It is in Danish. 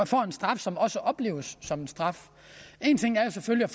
får en straf som også opleves som en straf en ting er selvfølgelig